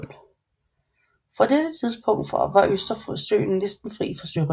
Fra dette tidspunkt var Østersøen næsten fri for sørøvere